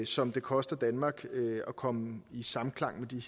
som det koster danmark at komme i samklang med de